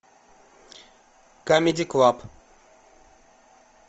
камеди клаб